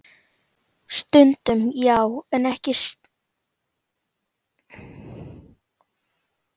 Stundum já, en stundum ekki.